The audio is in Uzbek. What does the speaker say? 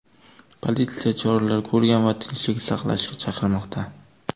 Politsiya choralar ko‘rgan va tinchlik saqlashga chaqirmoqda.